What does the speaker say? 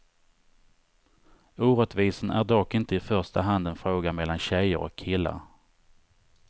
Orättvisan är dock inte i första hand en fråga mellan tjejer och killar.